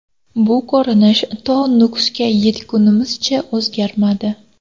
Bu ko‘rinish to Nukusga yetgunimizcha o‘zgarmadi.